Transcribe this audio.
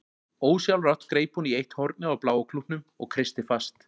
Ósjálfrátt greip hún í eitt hornið á bláa klútnum og kreisti fast.